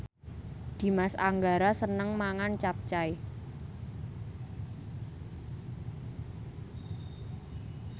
Dimas Anggara seneng mangan capcay